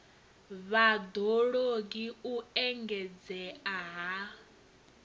vhad ologi u engedzea ha